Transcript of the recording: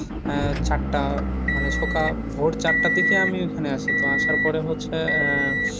আহ চারটা মানে সকাল ভোর চারটার দিকে আমি ওখানে আসি তো আসার পরে হচ্ছে আহ